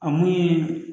A mun ye